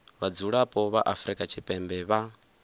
vhadzulapo vha afrika tshipembe vha